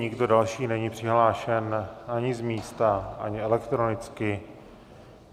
Nikdo další není přihlášen ani z místa, ani elektronicky.